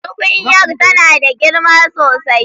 Tukunyar tana da girma sosai.